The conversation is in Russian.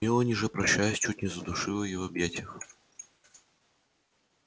мелани же прощаясь чуть не задушила её в объятиях